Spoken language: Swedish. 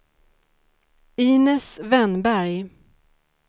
Inez Wennberg